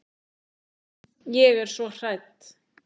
Ég er svo hrædd.